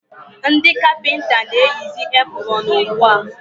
ndị kapịnta na-eyizi epụrọn ugbua.